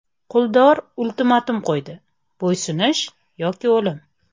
Quldorlar ultimatum qo‘ydi: bo‘ysunish yoki o‘lim.